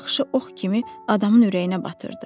Baxışı ox kimi adamın ürəyinə batırdı.